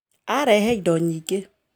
Arehe indo nyingĩ